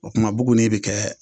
O tuma buguni bɛ kɛ